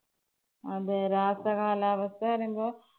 അതെ രാസ കാലാവസ്ഥെന്ന് പറയുമ്പോ